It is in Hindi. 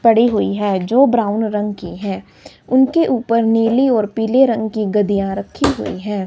पड़ी हुई है जो ब्राउन रंग की है उनके ऊपर नीली और पीले रंग की गद्दिया रखी हुई है।